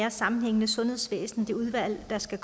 og sammenhængende sundhedsvæsen det udvalg der skal